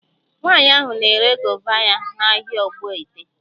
Nwaanyị ahụ na-ere gova ya n'ahịa Ogbaete